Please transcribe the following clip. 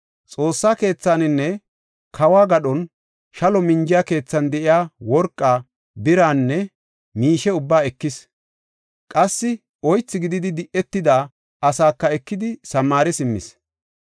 Xoossa keethaninne kawo gadhon shalo minjiya keethan de7iya worqaa, biraanne miishe ubbaa ekis; qassi oythi gididi di7etida asaaka ekidi, Samaare simmis.